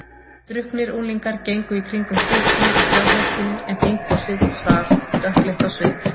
Drukknir unglingar gengu í kringum styttuna af þjóðhetjunni en þinghúsið svaf, dökkleitt á svip.